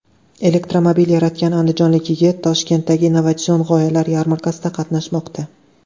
Elektromobil yaratgan andijonlik yigit Toshkentdagi innovatsion g‘oyalar yarmarkasida qatnashmoqda .